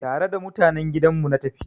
Tare da mutanen gidan mu na tafi.